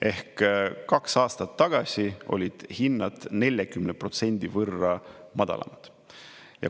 Ehk kaks aastat tagasi olid hinnad 40% võrra madalamad.